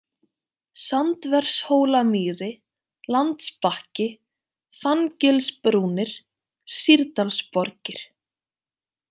Sandvershólamýri, Landsbakki, Fanngilsbrúnir, Sýrdalsborgir